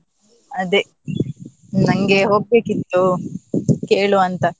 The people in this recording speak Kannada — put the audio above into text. ಅದೇ ನಂಗೆ ಹೋಗ್ಲಿಕಿತ್ತು, ಕೇಳುವಂತ.